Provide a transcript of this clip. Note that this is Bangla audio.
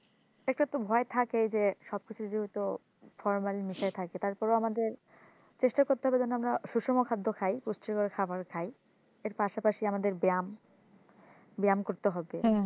একটা তো ভয় থাকেই যে সব কিছু যেহেতু formalin মেশায় থাকে তারপরেও আমাদের চেষ্টা করতে হবে যেন আমরা সুষম খাদ্য খাই পুষ্টিকর খাবার খাই এর পাশাপাশি আমাদের ব্যায়াম ব্যায়াম করতে হবে